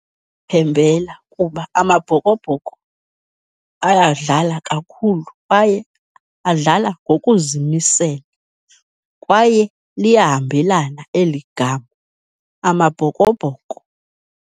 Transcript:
Phembela kuba Amabhokobhoko ayadlala kakhulu kwaye adlala ngokuzimisela, kwaye liyahambelana eli gama, Amabhokobhoko.